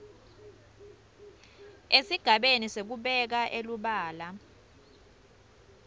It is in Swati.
esigabeni sekubeka elubala